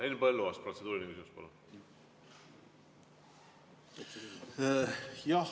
Henn Põlluaas, protseduuriline küsimus, palun!